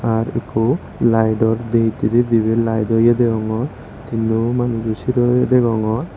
aar eko laido dehete debe laido ye degongor tino manusjo siree degongor.